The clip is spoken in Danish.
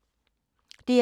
DR2